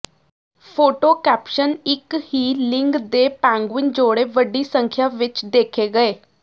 photo caption ਇੱਕ ਹੀ ਲਿੰਗ ਦੇ ਪੈਂਗੂਇਨ ਜੋੜੇ ਵੱਡੀ ਸੰਖਿਆ ਵਿੱਚ ਦੇਖੇ ਗਏ